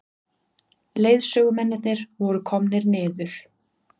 Leiðsögumennirnir voru komnir niður.